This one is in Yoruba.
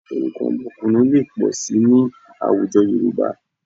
Orúkọ ọmọkùnrin lè pọ̀ síi ní àwùjọ Yorùbá